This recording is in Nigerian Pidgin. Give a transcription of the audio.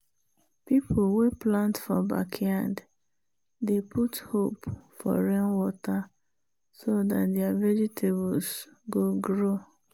people wey plant for backyard dey put hope for rainwater so dat their vegetables go grow.